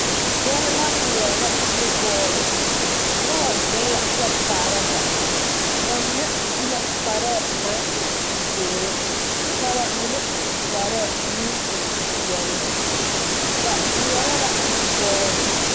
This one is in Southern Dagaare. Gbɛre la ŋmeɛrɛ nu bɔɔli noba zeŋ la kyɛ kaara ba ba mine su la kparɛɛ naŋ e zeere ka ba mine su kparɛɛ naŋ e peɛle ba ŋmeɛrɛ la nubbɔɔli